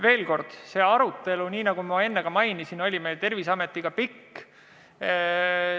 Veel kord, see arutelu, nagu ma enne mainisin, oli meil Terviseametiga pikk.